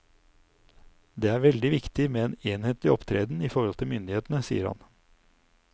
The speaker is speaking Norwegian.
Det er veldig viktig med en enhetlig opptreden i forhold til myndighetene, sier han.